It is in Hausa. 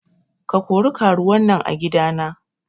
Ka kori karuwan nan a gida na.